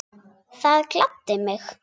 Það gladdi mig.